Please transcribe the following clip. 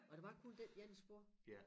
Og der var kun den ene spor